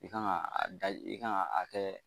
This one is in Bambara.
I kan ka a da i kan ka a kɛ